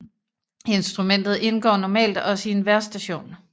Instrumentet indgår normalt også i en vejrstation